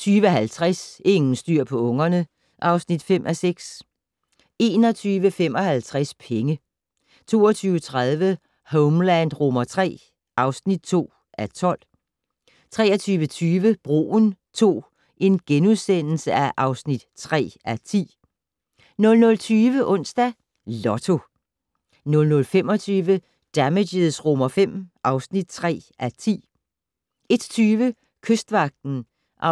20:50: Ingen styr på ungerne (5:6) 21:55: Penge 22:30: Homeland III (2:12) 23:20: Broen II (3:10)* 00:20: Onsdags Lotto 00:25: Damages V (3:10) 01:20: Kystvagten (16:68) 02:05: